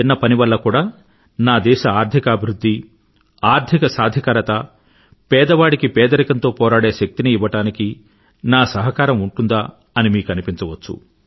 అలానే ఇవాళ మీరు చేసే ఈ చిన్న పని వల్ల కూడా నా దేశ ఆర్థిక అభివృధ్ధి ఆర్థిక సాధికారత పేదవాడికి పేదరికంతో పోరాడే శక్తిని ఇవ్వడానికి నా సహకారం ఉంటుందా అని మీకు అనిపించవచ్చు